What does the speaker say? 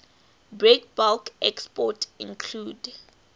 breakbulk exports include